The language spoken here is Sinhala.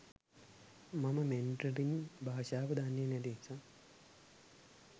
මම මැන්ඩරීන් භාශාව දන්නෙ නැති නිසා.